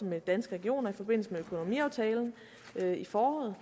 med danske regioner i forbindelse med økonomiaftalen i foråret